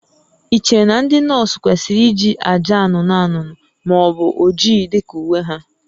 Ị chere na ndị nọọsụ kwesịrị iji acha anụnụ anụnụ ma ọ bụ oji dị ka uwe ha?